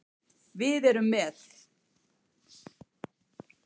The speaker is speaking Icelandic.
Við erum með